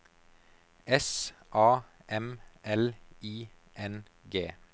S A M L I N G